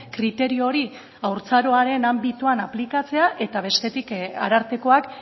kriterio hori haurtzaroaren anbitoan aplikatzea eta bestetik arartekoak